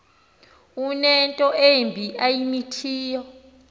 unento embi ayimithiyo